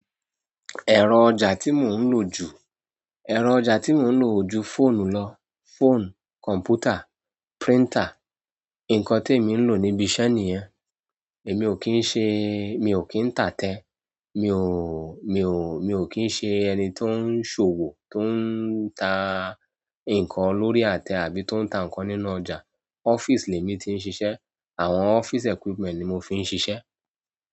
Ẹ̀rọ ọjà tí mò ń lò ju, ẹ̀rọ ọjà tí mò ń lò ju fóònù lọ, fónù, kọ̀m̀pútà, príntà, ǹkan tí èmi ń lò níbi iṣẹ́ nìyẹn. Èmi ò kí ń ṣe, mi ò kí ń tà tẹ́, mi ò, mi ò, mi ò kí ń ṣe ẹni tó ń ṣòwò tó ń tà ǹkan lórí àtẹ àbí tó ń tà ǹkan nínú ọjà. Office lẹ mí ti ń ṣiṣẹ́. Àwọn office equipment ni mo fi ń ṣiṣẹ́.